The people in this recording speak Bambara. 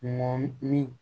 Mɔni